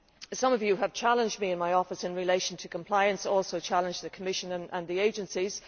Some of you have challenged me and my office in relation to compliance, and also challenged the Commission and the agencies.